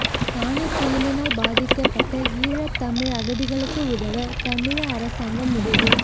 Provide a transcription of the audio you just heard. தானே புயலினால் பாதிக்கப்பட்ட ஈழத்தமிழ் அகதிகளுக்கு உதவ தமிழீழ அரசாங்கம் முடிவு